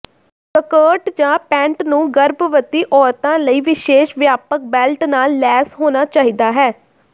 skirt ਜਾਂ pant ਨੂੰ ਗਰਭਵਤੀ ਔਰਤਾਂ ਲਈ ਵਿਸ਼ੇਸ਼ ਵਿਆਪਕ ਬੈਲਟ ਨਾਲ ਲੈਸ ਹੋਣਾ ਚਾਹੀਦਾ ਹੈ